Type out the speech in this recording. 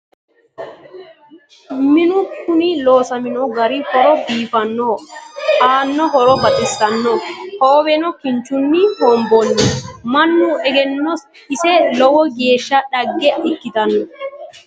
Minnu kunni loosamminno gari horo biifannoho nna horo baxissanno . hoowenno kinchchunni hogonboonni. mannu egenno ise lowo geeshsha dhagge ikkitanno.